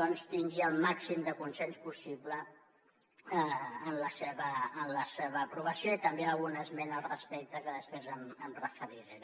doncs tingui el màxim de consens possible en la seva aprovació i també alguna esmena al respecte que després m’hi referiré